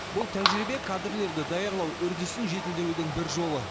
бұл тәжірибе кадрлерді даярлау үрдісін жетілдірудің бір жолы